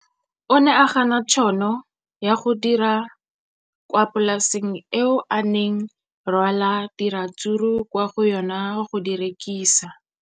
O ne a gana tšhono ya go dira kwa polaseng eo a neng rwala diratsuru kwa go yona go di rekisa.